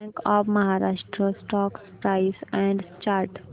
bank of Maharashtra stock price and chart